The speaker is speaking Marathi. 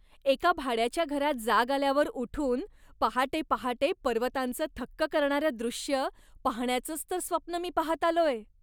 एका भाड्याच्या घरात जाग आल्यावर उठून पहाटे पहाटे पर्वतांचं थक्क करणारं दृश्य पाहण्याचंच तर स्वप्न मी पाहत आलोय.